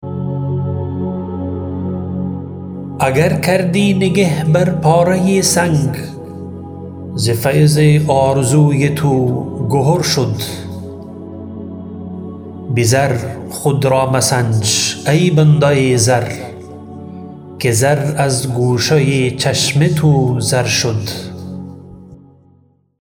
اگر کردی نگه بر پاره سنگ ز فیض آرزوی تو گهر شد به زر خود را مسنج ای بنده زر که زر از گوشه چشم تو زر شد